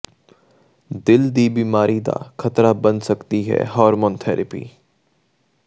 ਦਿਲ ਦੀ ਬਿਮਾਰੀ ਦਾ ਖ਼ਤਰਾ ਬਣ ਸਕਦੀ ਹੈ ਹਾਰਮੋਨ ਥੇਰੈਪੀ